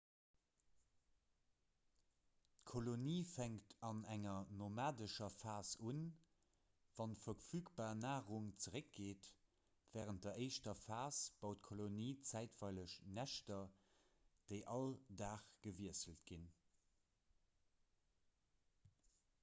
d'kolonie fänkt an enger nomadescher phas un wann d'verfügbar narung zeréckgeet wärend der éischter phas baut d'kolonie zäitweileg näschter déi all dag gewiesselt ginn